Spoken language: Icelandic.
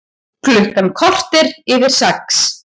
Klukkan korter yfir sex